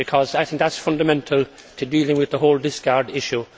we not? Because I think that is fundamental for dealing with the whole discard